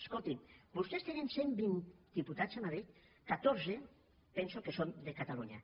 escolti’m vostès tenen cent vint diputats a madrid catorze penso que són de catalunya